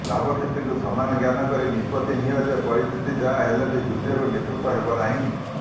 ଲାଭକ୍ଷତିକୁ ସମାନ ଜ୍ଞାନ କରି ନିଷ୍ପତ୍ତି ନିଅ ଯେ ପରିସ୍ଥିତି ଯାହା ହେଲେ ବି ଯୁଦ୍ଧରୁ ନିବୃତ୍ତ ହେବ ନାହିଁ